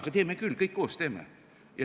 Aga teeme küll, kõik koos teeme.